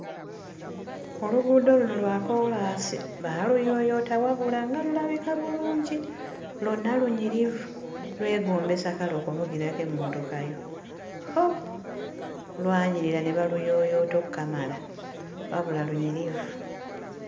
Oluguudo luno lwa koolaasi, baaluyooyoota wabula, nga lulabika bulungi! Lwonna lunyirivu, lwegombesa kale okuvugirako emmotoka yo. Hoo! Lwanyirira ne baluyooyoota okkamala; wabula lunyirivu.